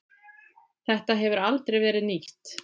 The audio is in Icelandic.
Þetta hefur aldrei verið nýtt.